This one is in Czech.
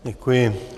Děkuji.